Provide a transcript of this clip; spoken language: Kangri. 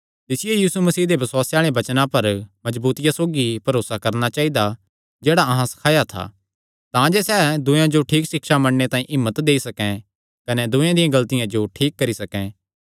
तिसियो यीशु मसीह दे बसुआसे आल़े वचनां पर मजबूतिया सौगी भरोसा करणा चाइदा जेह्ड़ा अहां सखाया था तांजे सैह़ दूयेयां जो ठीक सिक्षा मन्नणे तांई हिम्मत देई सकैं कने दूयेयां दिया गलतिया जो ठीक करी सकैं